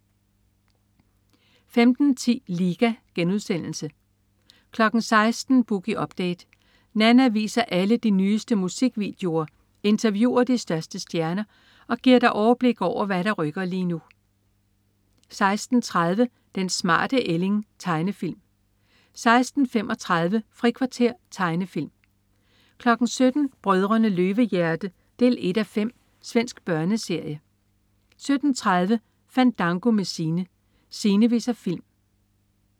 15.10 Liga* 16.00 Boogie Update. Nanna viser alle de nyeste musikvideoer, interviewer de største stjerner og giver dig overblik over, hvad der rykker lige nu 16.30 Den smarte ælling. Tegnefilm 16.35 Frikvarter. Tegnefilm 17.00 Brødrene Løvehjerte 1:5. Svensk børneserie 17.30 Fandango med Sine. Sine viser film